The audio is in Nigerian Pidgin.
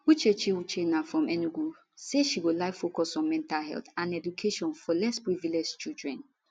uchechi uchenna from enugu say she go like focus on mental health and education for less privilege children